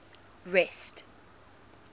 rest